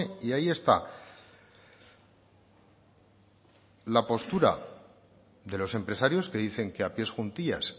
y ahí está la postura de los empresarios que dicen que a pies juntillas